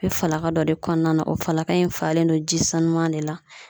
Bɛ falaka dɔ de kɔnɔna na o falaka in falen don ji sanuman de la .